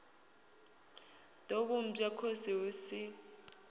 ḓo vhumbwa khosi hu si